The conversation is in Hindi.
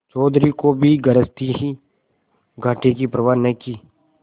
चौधरी को भी गरज थी ही घाटे की परवा न की